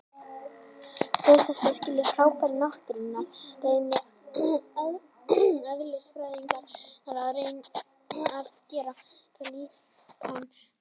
Til þess að skilja fyrirbæri náttúrunnar reyna eðlisfræðingar að gera líkön af þeim.